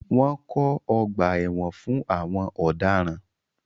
Wọ́n kọ́ ọgbà ẹ̀wọ̀n fún àwọn ọ̀daràn.